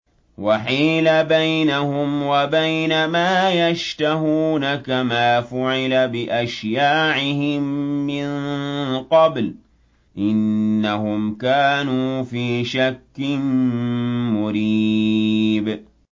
وَحِيلَ بَيْنَهُمْ وَبَيْنَ مَا يَشْتَهُونَ كَمَا فُعِلَ بِأَشْيَاعِهِم مِّن قَبْلُ ۚ إِنَّهُمْ كَانُوا فِي شَكٍّ مُّرِيبٍ